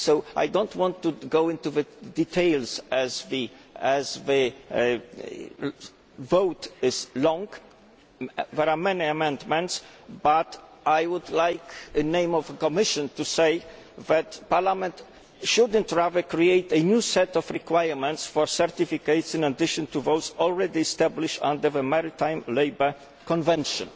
I do not want to go into the details, as the vote is long and there are many amendments, but I would like, in the name of the Commission, to say that Parliament should not create a new set of requirements for certificates in addition to those already established under the maritime labour convention.